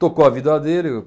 Tocou a vida dele.